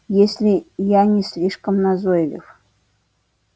если я не слишком назойлив